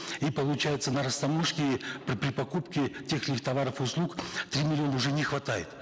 и получается на растаможке при покупке тех или иных товаров и услуг три миллиона уже не хватает